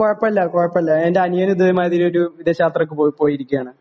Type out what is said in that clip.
കുഴപ്പമില്ല കുഴപ്പമില്ല എന്റെ അനിയനും ഇതേ മാതിരി ഒരു വിദേശ യാത്രയ്ക്ക് പോയിരിക്കുകയാണ്